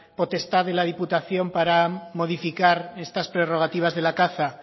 potestad de la diputación para modificar estas prerrogativas de la caza